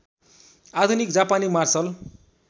आधुनिक जापानी मार्शल